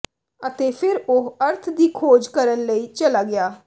ਅਤੇ ਫਿਰ ਉਹ ਅਰਥ ਦੀ ਖੋਜ ਕਰਨ ਲਈ ਚਲਾ ਗਿਆ